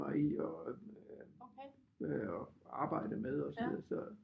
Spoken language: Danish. Mig i og arbejdet med og så videre så